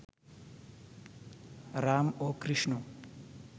রাম ও কৃষ্ণ